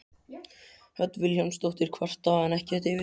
Hödd Vilhjálmsdóttir: Kvarta hann ekkert yfir því?